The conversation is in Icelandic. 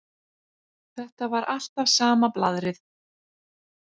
Þetta var alltaf sama blaðrið.